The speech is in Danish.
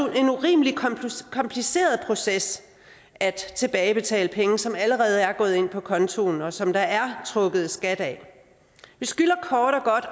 en urimelig kompliceret proces at tilbagebetale penge som allerede er gået ind på kontoen og som der er trukket skat af vi skylder kort